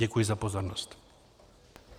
Děkuji za pozornost.